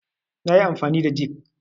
nayi amfani da jig